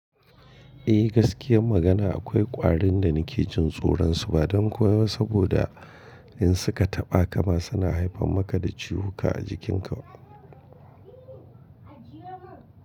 Eh gaskiyar magana akwai ƙwarin da nake jin tsoron su ba don kowa saboda in suka taɓa kama suna haifar maka da ciwuka a jikin ka.